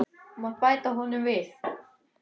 Þú mátt bæta honum við.